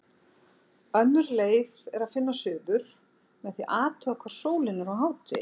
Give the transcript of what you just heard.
Önnur leið er að finna suður með því að athuga hvar sólin er á hádegi.